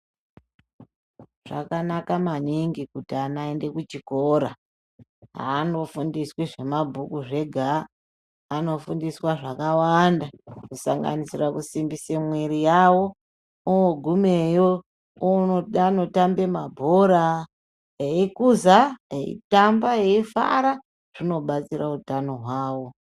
Zvakanaka maningi kuti ana aende kuchikora aandofundiswi zvabhuku zvega anofundiswa zvakawanda kusanganisira kusimbise mwiri yawo ogumeyo oone da anotambe mabhora eikuza eitamba eifara zvinobatsira utano hwawo.